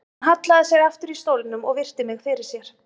Hann hallaði sér aftur í stólnum og virti mig fyrir sér.